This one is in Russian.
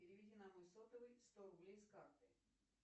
переведи на мой сотовый сто рублей с карты